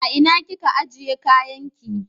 A ina kika ajiye kayan ki?